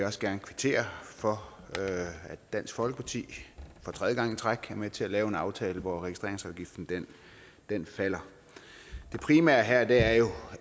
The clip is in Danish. også gerne kvittere for at dansk folkeparti for tredje gang i træk er med til at lave en aftale hvor registreringsafgiften falder det primære her er jo